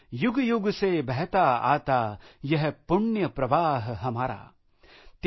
युगयुग से बहता आता यह पुण्य प्रवाह हमारा आय